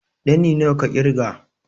Ɗani nawa ka ƙirga?